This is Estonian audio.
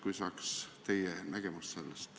Kui saaks teie nägemuse sellest.